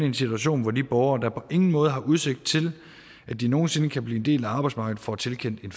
en situation hvor de borgere der på ingen måde har udsigt til at de nogen sinde kan blive en del af arbejdsmarkedet får tilkendt en